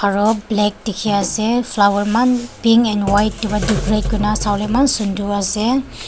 aro black dikhiase aro flower eman pink and white taepa decorate kurina sawolae eman sunder ase.